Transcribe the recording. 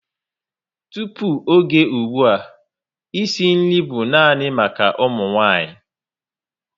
Tupu ógè ùgbúà, e si nri bú nani maka ụmụ nwanyị